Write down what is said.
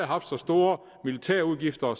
haft så store militærudgifter